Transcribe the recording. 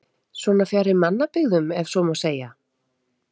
Svona fjarri mannabyggðum ef svo má segja?